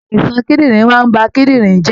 Àìsàn kídìnrín máa ń ba kídìnrín jẹ́